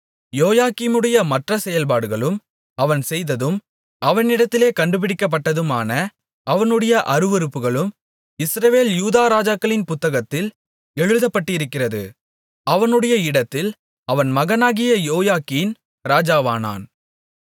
யோயாக்கீமுடைய மற்ற செயல்பாடுகளும் அவன் செய்ததும் அவனிடத்திலே கண்டுபிடிக்கப்பட்டதுமான அவனுடைய அருவருப்புகளும் இஸ்ரவேல் யூதா ராஜாக்களின் புத்தகத்தில் எழுதப்பட்டிருக்கிறது அவனுடைய இடத்தில் அவன் மகனாகிய யோயாக்கீன் ராஜாவானான்